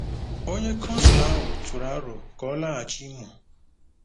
Onye consul ahụ tụrụ aro ka ọ laghachi Imo.